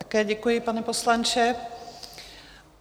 Také děkuji, pane poslanče.